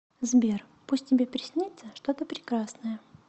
сбер пусть тебе приснится что то прекрасное